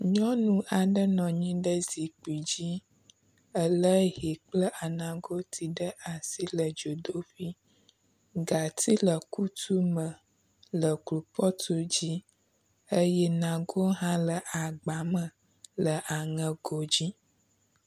Nyɔnu aɖe nɔ anyi ɖe zikpui dzi ele hɛ kple anagoti ɖe asi le dzodoƒi. gatsi le kutu me le klopɔtu dzi eye nago hã le agba me le aŋego dzi.